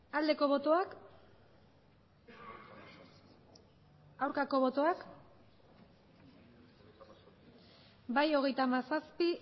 aldeko botoak aurkako botoak bai hogeita hamazazpi